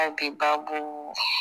A bi baabu.